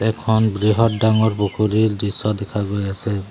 এখন বৃহৎ ডাঙৰ পুখুৰীৰ দৃশ্য দেখা গৈ আছে।